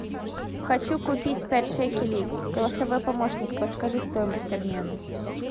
хочу купить пять шекелей голосовой помощник подскажи стоимость обмена